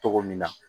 Cogo min na